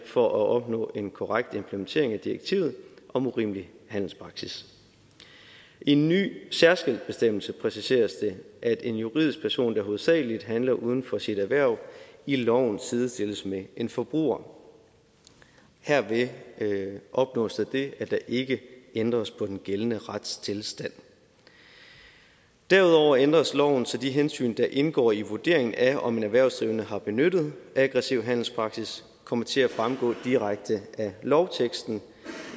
for at opnå en korrekt implementering af direktivet om urimelig handelspraksis i en ny særskilt bestemmelse præciseres det at en juridisk person der hovedsagelig handler uden for sit erhverv i loven sidestilles med en forbruger herved opnås der det at der ikke ændres på den gældende retstilstand derudover ændres loven så de hensyn der indgår i vurderingen af om en erhvervsdrivende har benyttet aggressiv handelspraksis kommer til at fremgå direkte af lovteksten